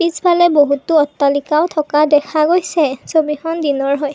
পিছফালে বহুতো অট্টালিকাও থকা দেখা গৈছে ছবিখন দিনৰ হয়।